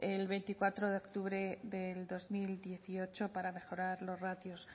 del veinticuatro de octubre del dos mil dieciocho para mejorar los ratios